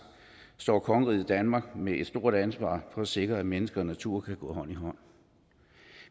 står kongeriget danmark med et stort ansvar for at sikre at mennesker og natur kan gå hånd i hånd